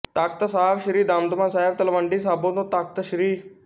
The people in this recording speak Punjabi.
ਤਖ਼ਤ ਸਾਹਿਬ ਸ੍ਰੀ ਦਮਦਮਾ ਸਾਹਿਬ ਤਲਵੰਡੀ ਸਾਬੋ ਤੋਂ ਤਖ਼ਤ ਸ੍ਰੀ